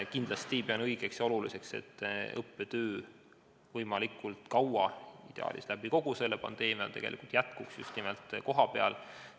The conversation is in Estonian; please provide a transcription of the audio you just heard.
Kindlasti pean õigeks ja oluliseks, et õppetöö jätkuks võimalikult kaua – ideaalis kogu pandeemia vältel – just nimelt kohapeal.